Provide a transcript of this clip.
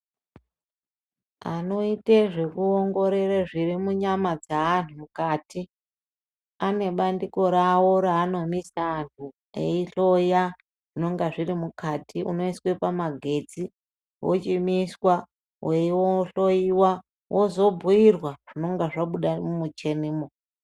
Anoite zvekuongorore zvirimunyama dzeanhu mukati, anebandiko ravo raanomisa anhu eihloya zvinonga zviri mukati, unoiswa pamagetsi, wochimiswa weihloyiwa, wozobhuirwa zvinonga zvabuda mumuchinimo.